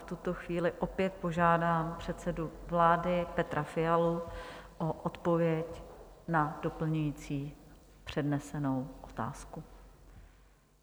V tuto chvíli opět požádám předsedu vlády Petra Fialu o odpověď na doplňující přednesenou otázku.